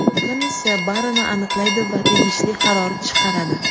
Komissiya barini aniqlaydi va tegishli qaror chiqaradi.